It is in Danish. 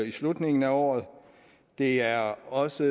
i slutningen af året det er også